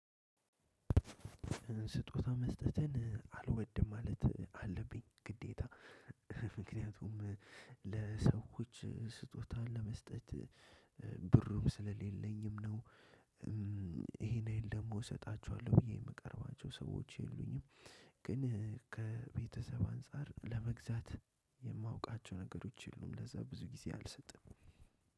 ስጦታ መስጠትን አልወድም ማለት አለብኝ ግዴታ ምክንያቱም ለሰዎች ስጦታን ለመስጠት ብሩም ስለሌለኝም ነው። ይሄን ደግሞ እሰጣችኋለሁ ብዬ የምቀርባቸው ሰዎች የሉኝም። ግን ከቤተሰብ አንፃር ለመግዛት የማውቃቸው ነገሮች የሉም ለዛ ብዙ ጊዜ አልሰጥም።